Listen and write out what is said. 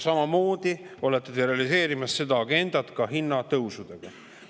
Samamoodi olete te realiseerimas seda agendat hinnatõusudega.